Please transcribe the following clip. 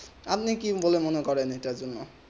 আপনি কি বলেন মনে করে এইটা জন্য